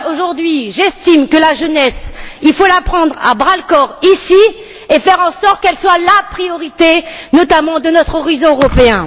J'estime, aujourd'hui, que la jeunesse, il faut la prendre à bras le corps ici et faire en sorte qu'elle soit la priorité, notamment de notre horizon européen.